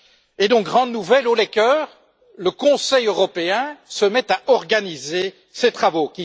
Et donc grande nouvelle haut les cœurs le Conseil européen se met à organiser ses travaux.